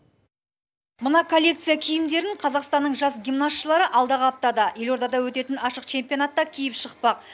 мына коллекция киімдерін қазақстанның жас гимнастшылары алдағы аптада елордада өтетін ашық чемпионатта киіп шықпақ